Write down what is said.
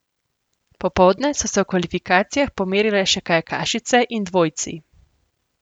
Popoldne so se v kvalifikacijah pomerile še kajakašice in dvojci.